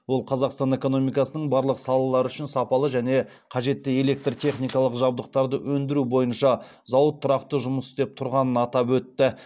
ол қазақстан экономикасының барлық салалары үшін сапалы және қажетті электр техникалық жабдықтарды өндіру бойынша зауыт тұрақты жұмыс істеп тұрғанын атап өтті